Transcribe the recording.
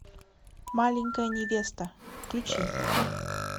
маленькая невеста включи